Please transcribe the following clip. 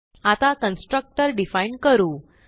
आता constructor define करू